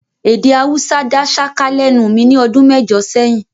Èdè Haúsá dá ṣáká lẹ́nu mi ní ọdún mẹ́jọ sẹ́yìn